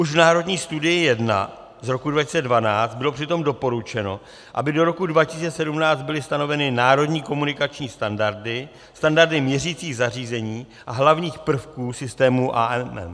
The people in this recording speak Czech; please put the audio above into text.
Už v Národní studii 1 z roku 2012 bylo přitom doporučeno, aby do roku 2017 byly stanoveny národní komunikační standardy, standardy měřicích zařízení a hlavních prvků systému AMM.